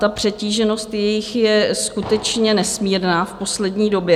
Ta přetíženost jejich je skutečně nesmírná v poslední době.